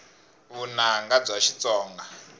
vunanga bya xitsonga